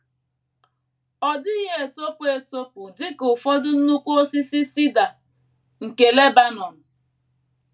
Ọ dịghị etopụ etopụ dị ka ụfọdụ nnukwu osisi cedar nke Lebanọn.